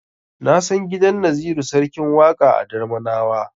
Na san gidan Naziru Sarkin Waƙa a Darmanawa.